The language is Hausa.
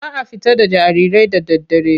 Ba a fita da jarirai da daddare.